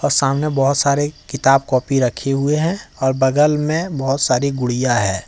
सामने बहुत सारे किताब कॉपी रखे हुए हैं और बगल में बहुत सारी गुड़िया है।